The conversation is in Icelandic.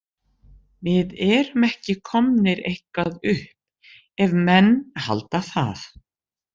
Við erum ekki komnir eitthvað upp ef menn halda það.